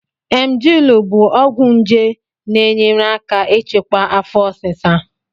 Emgyl bụ ọgwụ nje na-enyere aka ịchịkwa afo osisa